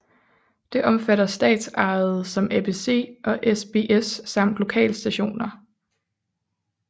Det omfatter statsejede som ABC og SBS samt lokalstationer